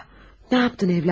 Ya, nə etdin, övladım?